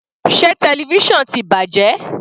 Sé television ti bàjẹ́?